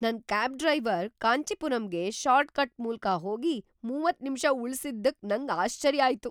ನನ್ cab driver ಕಾಂಚೀಪುರಂಗೆ shortcut ಮೂಲ್ಕ ಹೋಗಿ ಮೂವತ್ತು ನಿಮಿಷ ಉಳಿಸಿದ್ದಕ್ ನಂಗ್ ಆಶ್ಚರ್ಯ ಆಯ್ತು.